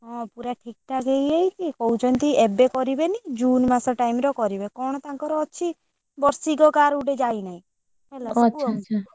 ହଁ ପୁରା ଠିକଠାକ ହେଇଯାଇଛି କହୁଛନ୍ତି ଏବେ କରିବେନି june ମାସ time ରେ କରିବେ କଣ ତାଙ୍କର ଅଛି, ବର୍ଷିକ କାହାର ଗୋଟେ ଯାଇନାହିଁ, ହେଲା।